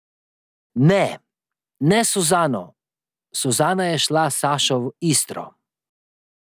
Ne, ne s Suzano, Suzana je šla s Sašo v Istro.